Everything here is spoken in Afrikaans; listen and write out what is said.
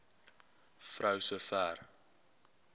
vrou so ver